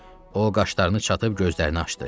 O qaşlarını çatıb gözlərini açdı.